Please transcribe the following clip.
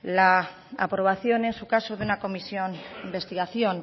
la aprobación en su caso de una comisión de investigación